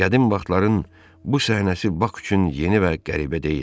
Qədim vaxtların bu səhnəsi Bak üçün yeni və qəribə deyildi.